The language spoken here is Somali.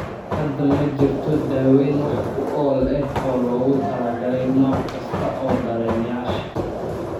Hadda ma jirto daaweyn wax ku ool ah oo loogu talagalay nooc kasta oo dareemayaasha dareemayaasha dareemayaasha.